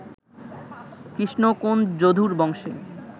কৃষ্ণ, কোন্ যদুর বংশে